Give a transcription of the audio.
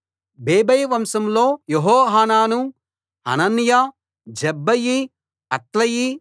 బేబై వంశంలో Jehohanan Hananiah Zabbai Athlai